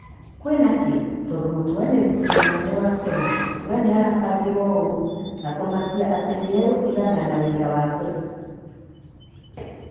Kwĩna kĩ,? Tondũ mũtuanĩri cira mũnene wa Kenya kuuga nĩ arabangirwo ũũru. Na kũmakia atĩ nĩ egũtigana na wĩra wake.